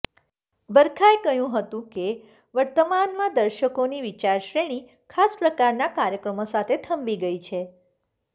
બરખાએ કહ્યું હતું કે વર્તમાનમાં દર્શકોની વિચારશ્રેણી ખાસ પ્રકારના કાર્યક્ર્મો સાથે થંભી ગઈ છે